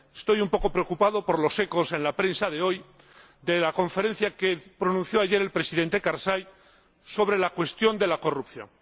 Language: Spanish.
Estoy un poco preocupado por los ecos en la prensa de hoy de la conferencia que pronunció ayer el Presidente Karzai sobre la cuestión de la corrupción.